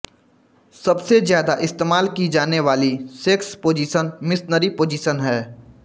सबसे ज्यादा इस्तेमाल की जाने वाली सेक्स पोजीशन मिशनरी पोजीशन है